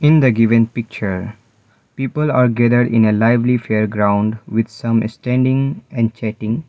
in the given picture people are gathered in a lively fair ground with some standing and chatting.